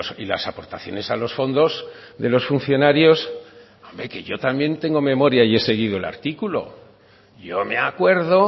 y las aportaciones a los fondos de los funcionarios hombre que yo también tengo memoria y he seguido el artículo yo me acuerdo